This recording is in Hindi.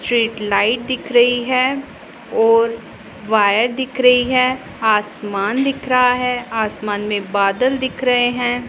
स्ट्रीट लाइट दिख रही है और वायर दिख रही है आसमान दिख रहा है आसमान में बादल दिख रहे हैं।